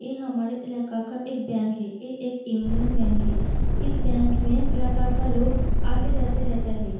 ये हमारे इलाके का एक बैंक है ये एक यूनियन बैंक है इस बैंक में इलाका का लोग आते-जाते रहता है।